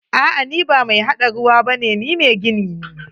A'a, ni ba mai haɗa ruwa bane, ni mai gini ne.